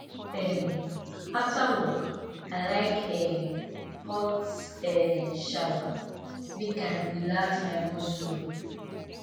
um after work i like um hot um shower make i relax my muscle